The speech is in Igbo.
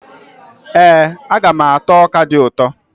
Ee, aga m ata ọka dị ụtọ.